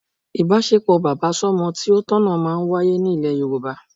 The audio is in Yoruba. Ìbáṣepọ̀ bàbá sọmọ tí ó tọ̀nà máa ń wáyé ní ilẹ̀ Yorùbá